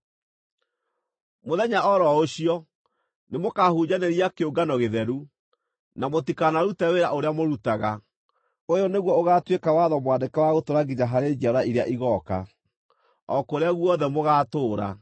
Mũthenya o ro ũcio, nĩmũkahunjanĩria kĩũngano gĩtheru, na mũtikanarute wĩra ũrĩa mũrutaga. Ũyũ nĩguo ũgaatuĩka watho mwandĩke wa gũtũũra nginya harĩ njiarwa iria igooka, o kũrĩa guothe mũgaatũũra.